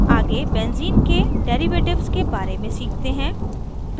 आगे benzene benzene के derivatives के बारे में सीखते हैं